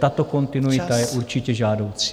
Tato kontinuita je určitě žádoucí.